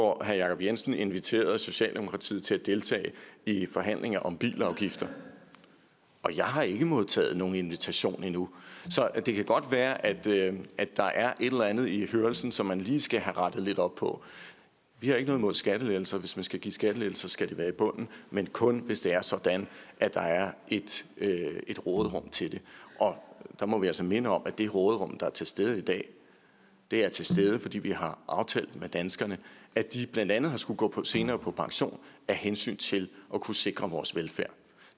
hvor herre jacob jensen inviterede socialdemokratiet til at deltage i forhandlinger om bilafgifter og jeg har ikke modtaget nogen invitation endnu så det kan godt være at der er et eller andet i hørelsen som man lige skal have rettet lidt op på vi har ikke noget mod skattelettelser hvis man skal give skattelettelser skal det være i bunden men kun hvis det er sådan at der er et råderum til det og der må vi altså minde om at det råderum der er til stede i dag er til stede fordi vi har aftalt med danskerne at de blandt andet skal gå senere på pension af hensyn til at kunne sikre vores velfærd